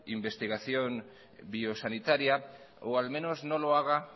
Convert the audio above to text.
investigación biosanitaria o al menos no lo haga